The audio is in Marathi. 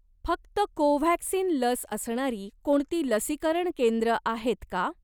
फक्त कोव्हॅक्सिन लस असणारी कोणती लसीकरण केंद्र आहेत का?